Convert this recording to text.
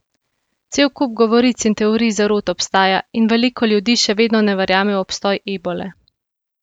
Cel kup govoric in teorij zarot obstaja in veliko ljudi še vedno ne verjame v obstoj ebole.